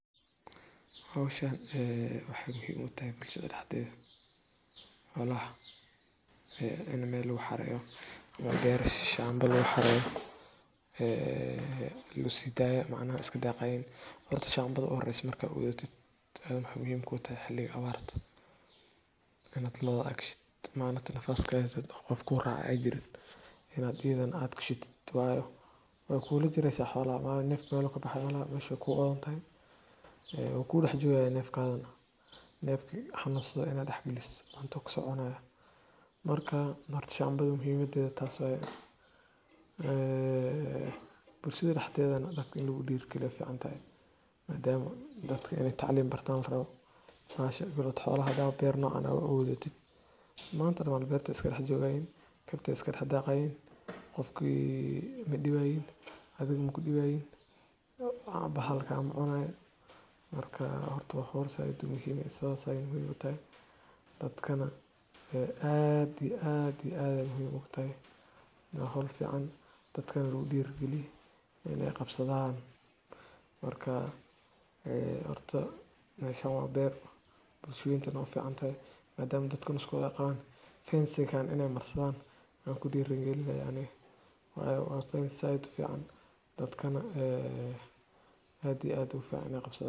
Howshani waxay muhim utahay bulshada daxdeeda xoolaha in mel lagu xareyo ama ber shamba lagu xareeyo e lasidaayo iskadaqayan. Horta shambada u horeyso marka lagudaya waxay muhim utahay xiliga abarta inta lo'oda adhashtid qofka kuracaya ayjirin inad iyadana adgshatid wayo weykulajireysa xolaha wayo neefka mel I kabaxaya malaha mesha wey odantahay e waku daxjogaya nefkagana. Nefka hanasdo ina daxgalisid manta u kasocunaya mrka shambada muhimadeda tas waye. Ee bulshada daxdeeda in lagu dherigaliyo wayficantahay madama dadka inay taclin bartan larabo xolaha hadaba ber nocan a uabuurtid maanta o dan berta ay iska daxjogayan berta iska daxdaqayan qofki madibayan waxba kamacunayan sas ayay muhim utahay dadkana aad iyo ad ay muhim ugutahay wa howl fican dadkana lagu dhiri gali inay qabsadan marka horta meshan wa beer bulsho weynta dan uficantahy maadma daka o dan ayqaban waxa fican fence inay marsadan ankudirigalina ani wayo qa howl zaid ufican dadkana ad iyo ugufican inay qabsadan.